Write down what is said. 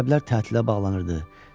Məktəblər tətilə bağlanırdı.